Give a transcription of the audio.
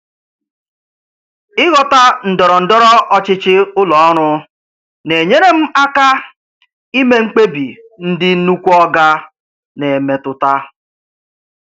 Ịghọta ndọrọ ndọrọ ọchịchị ụlọ ọrụ na-enyere m aka ime mkpebi ndị "nnukwu oga" na-emetụta.